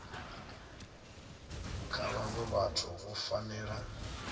kha vhaṅwe vhathu vhu fanela